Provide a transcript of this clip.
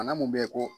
Bana mun be yen ko